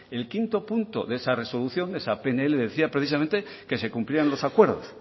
el quinto punto de esa resolución de esa pnl decía precisamente que se cumplían los acuerdos